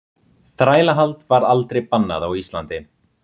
þrælahald var aldrei bannað á íslandi